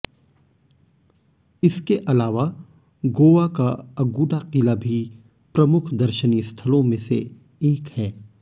इसके अलावा गोवा का अगुडा किला भी प्रमुख दर्शनीय स्थलों में से एक है